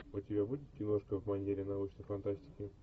у тебя будет киношка в манере научной фантастики